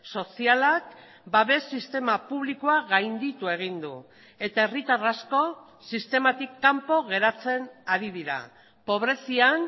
sozialak babes sistema publikoa gainditu egin du eta herritar asko sistematik kanpo geratzen ari dira pobrezian